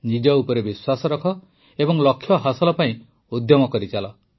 ନିଜ ଉପରେ ବିଶ୍ୱାସ ରଖ ଏବଂ ଲକ୍ଷ୍ୟ ହାସଲ ପାଇଁ ଉଦ୍ୟମ କରିଚାଲ